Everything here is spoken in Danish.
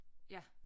Ja